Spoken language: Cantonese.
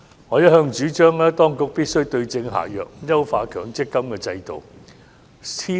我一向主張當局必須對症下藥，優化強積金的制度。